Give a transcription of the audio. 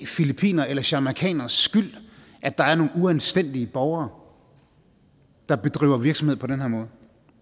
filippineres eller jamaicaneres skyld at der er nogle uanstændige borgere der bedriver virksomhed på den her måde